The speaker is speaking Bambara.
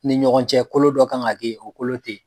Ni ɲɔgɔn cɛ kolo dɔ ka kan ka kɛ yen, o kolo te yen.